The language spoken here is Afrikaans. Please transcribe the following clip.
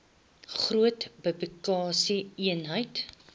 groot produksie eenhede